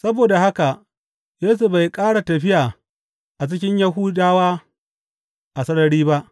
Saboda haka Yesu bai ƙara tafiya a cikin Yahudawa a sarari ba.